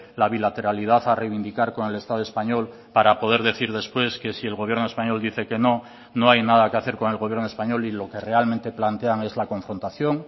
la bilateralidad a reivindicar con el estado español para poder decir después que si el gobierno español dice que no no hay nada que hacer con el gobierno español y lo que realmente plantean es la confrontación